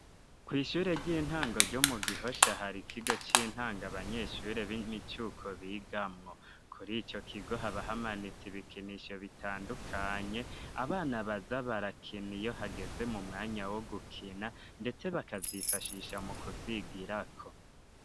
kw'ishure ry'intango ryo mu gihosha hari kigo c'intango abanyeshure b'imicuko bigamwo kuri ico kigo haba hamanitse ibikinisho bitandukanye abana baza barakina iyo hageze mu mwanya wo gukina ndetse bakavyifashisha mu kuvyigira ko.